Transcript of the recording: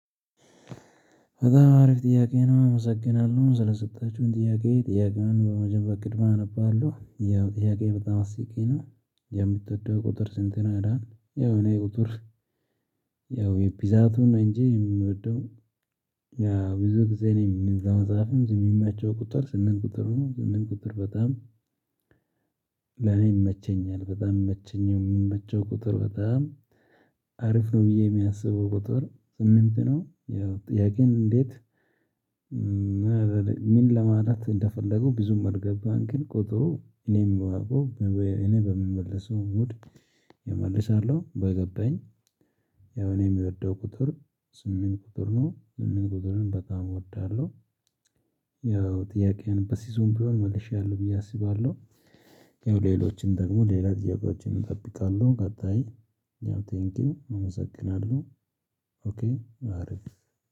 በጣም አሪፍ ጥያቄ ነው አመሰግናለሁ ስለሰጣችሁኝ ጥያቄ ጥያቄውን በመጀመሪያ ቅድሚያ አነባለሁ ያው ጥያቄ በጣም አስቂኝ ነው። የምትወደው ቁጥር ስንት ነው ይላል? ያው እኔ ቁጥር ያው የፒዛቱን ነው እንጂ የምወደው ያ ብዙ ጊዜ ነው የምንለው መጽሐፍም ዝም የሚመቸው ቁጥር ስምንት ቁጥር ሆኖ ስምንት ቁጥር በጣም ለኔ ይመቸኛል በጣም የሚመቸኝም የመቸው ቁጥር በጣም አሪፍ ነው ብዬ የማስበው ቁጥር ስምንት ነው። ያው ጥያቄን እንዴት ምን ለማለት እንደፈለጉ ብዙም አልገባኝም። ግን ቁጥሩ ሁሌም የምወደው እኔ በምመልሰው እምወድ እመልሳለሁ በገባኝ ያው እኔ የምወደው ቁጥር ስምንት ቁጥር ነው ስምንት ቁጥርን በጣም እወዳለሁ። ያው ጥያቄውን በሲዞን ቢሆን መልሼያለሁ ብዬ አስባለሁ። ያው ሌሎችን ደግሞ ሌላ ጥያቄዎችን እጠብቃለሁ። ቀጣይ ያው ቴንኪው እመሰግናለሁ። ኦኬ አሪፍ